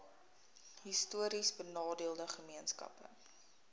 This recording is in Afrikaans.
histories benadeelde gemeenskappe